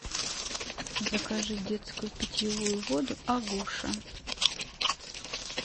закажи детскую питьевую воду агуша